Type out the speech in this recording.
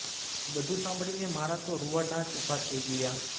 આ બધું સાંભળીને મારા તો રૂવાંટા જ ઊભા થઈ ગયા